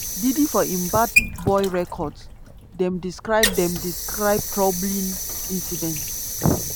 diddy for im bad boy records dem describe dem describe troubling incidents